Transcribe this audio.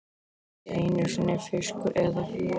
Ekki einu sinni fiskur eða fluga.